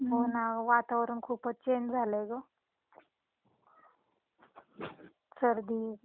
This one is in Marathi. हो ना वातावरण खूपच चेंज झालंय गं सर्दी.